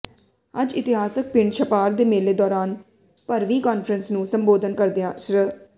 ਅੱਜ ਇਤਿਹਾਸਕ ਪਿੰਡ ਛਪਾਰ ਦੇ ਮੇਲੇ ਦੌਰਾਨ ਭਰਵੀਂ ਕਾਨਫਰੰਸ ਨੂੰ ਸੰਬੋਧਨ ਕਰਦਿਆਂ ਸ੍ਰ